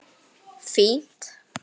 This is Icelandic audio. Hvernig líður þér núna?